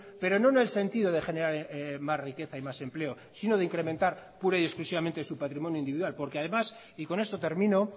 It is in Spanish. pero no en el sentido de generar más riqueza y más empleo sino de incrementar pura y exclusivamente su patrimonio individual porque además y con esto termino